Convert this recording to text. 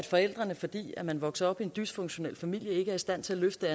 forældrene fordi man vokser op i en dysfunktionel familie ikke er i stand til at løfte